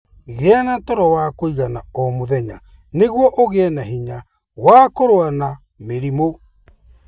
Gĩa na toro wa kũigana o mũthenya nĩguo ũgĩe na hinya wa kũrũa na mĩrimũ.